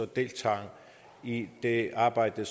deltager i det arbejde